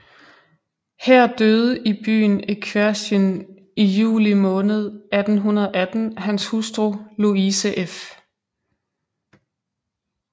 Her døde i byen Equerchin i juli måned 1818 hans hustru Louise f